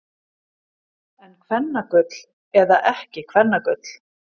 En kvennagull eða ekki kvennagull.